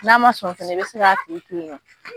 N'a ma sɔn fɛnɛ i bɛ se k'a tigi to yen